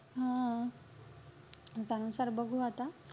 हम्म म त्यानुसार बघू आता.